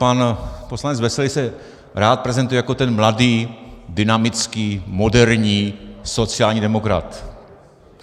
Pan poslanec Veselý se rád prezentuje jako ten mladý, dynamický, moderní, sociální demokrat.